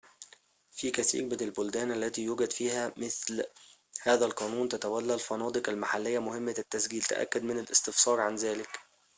في كثيرٍ من البلدان التي يوجد فيها مثل هذا القانون، تتولّى الفنادق المحلية مهمّة التسجيل تأكد من الاستفسار عن ذلك